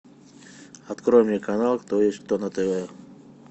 открой мне канал кто есть кто на тв